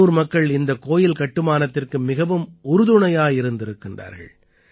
உள்ளூர் மக்கள் இந்தக் கோயில் கட்டுமானத்திற்கு மிகவும் உறுதுணையாயிருந்திருக்கிறார்கள்